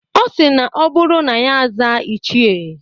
Ọ sịrị na ọ bụrụ na ya aza "ichie"